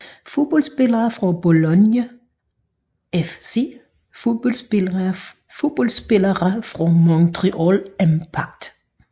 Fodboldspillere fra Bologna FC Fodboldspillere fra Montreal Impact